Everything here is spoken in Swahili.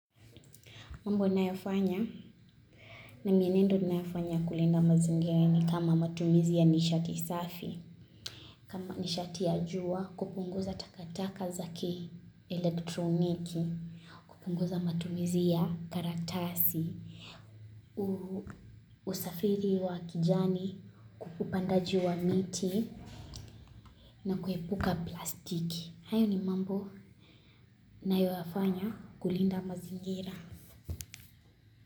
Mambo ninayofanya ni mienendo ninayofanya kulinda mazingira ni kama matumizi ya nishati safi kama nishati ya jua, kupunguza takataka za kielektroniki, kupunguza matumizi ya karatasi, usafiri wa kijani, upandaji wa miti na kuepuka plastiki. Hayo ni mambo ninayoyafanya kulinda mazingira.